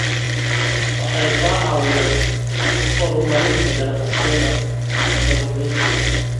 Waxay ka caawiyaan horumarinta ganacsiyada kalluumeysiga.